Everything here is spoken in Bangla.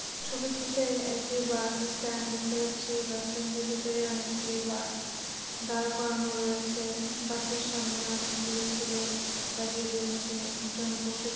ছবিটিতে একটি বাস স্ট্যান্ড দেখতে পাচ্ছি এই বাস স্ট্যান্ড এর ভিতরে অনেকগুলি বাস দাড় করানো রয়েছে বাস এর সামনে অনেকগুলি ছেলে দাড়িয়ে রয়েছে একজন বসে র--